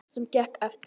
Sem gekk eftir.